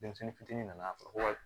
Denmisɛnnin fitinin nana ko